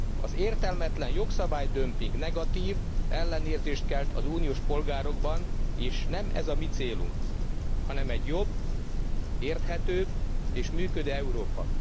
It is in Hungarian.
Az értelmetlen jogszabálydömping negatív ellenérzést kelt az uniós polgárokban és nem ez a mi célunk, hanem egy jobb, érthetőbb és működő Európa.